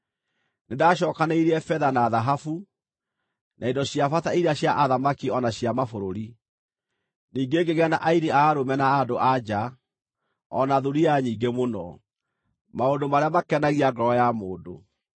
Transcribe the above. Nĩndacookanĩrĩirie betha na thahabu, na indo cia bata iria cia athamaki o na cia mabũrũri. Ningĩ ngĩgĩa na aini a arũme na a andũ-a-nja, o na thuriya nyingĩ mũno: maũndũ marĩa makenagia ngoro ya mũndũ.